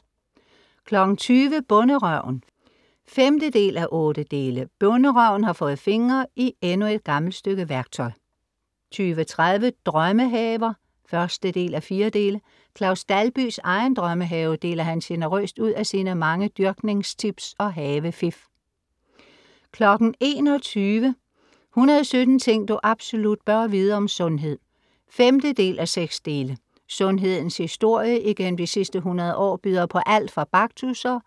20:00 Bonderøven (5:8) Bonderøven har fået fingre i endnu et gammelt stykke værktøj 20:30 Drømmehaver (1:4) Claus Dalbys egen drømmehave, deler han generøst ud af sine mange dyrkningstips og havefif 21:00 117 ting du absolut bør vide, om sundhed (5:6) Sundhedens historie igennem de sidste hundrede år byder på alt fra baktusser,